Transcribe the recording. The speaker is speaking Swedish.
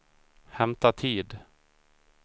hämta tid